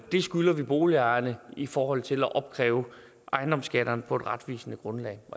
skylder vi boligejerne i forhold til at opkræve ejendomsskatterne på et retvisende grundlag